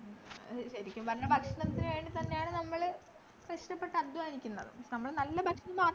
ശെരിക്കും പറഞ്ഞാൽ ഭക്ഷണത്തിനു വേണ്ടിത്തന്നെയാണു നമ്മള് കഷ്ടപ്പെട്ടധ്വാനിക്കുന്നത് നമ്മള് നല്ല ഭക്ഷണം മാത്രം